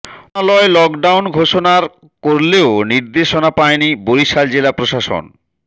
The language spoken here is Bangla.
মন্ত্রণালয় লকডাউন ঘোষণার করলেও নির্দেশনা পায়নি বরিশাল জেলা প্রশাসন